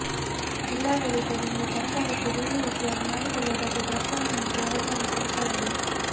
ಜಿಲ್ಲಾಡಳಿತದಿಂದ ಸರಕಾರಕ್ಕೆ ಭೂಮಿ ಒತ್ತುವರಿ ಮಾಡಿಕೊಳ್ಳುವ ಬಗ್ಗೆ ಪ್ರಸ್ತಾವನೆ ಹಾಗೂ ವರದಿಯನ್ನು ಸಲ್ಲಿಸಲಾಗಿದೆ